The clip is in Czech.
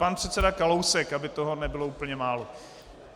Pan předseda Kalousek, aby toho nebylo úplně málo.